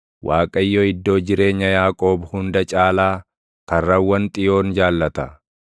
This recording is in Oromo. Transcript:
Waaqayyo iddoo jireenya Yaaqoob hunda caalaa, karrawwan Xiyoon jaallata.